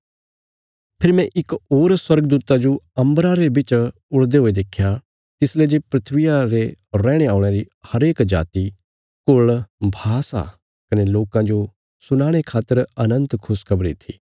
फेरी मैं इक होर स्वर्गदूता जो अम्बरा रे बिच उडदे हुये देख्या तिसले जे धरतिया रे रैहणे औल़यां री हरेक जाति कुल़ भाषा कने लोकां जो सुनाणे खातर अनन्त खुशखबरी थी